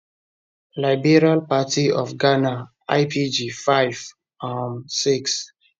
liberal party of ghana lpg 5 um 6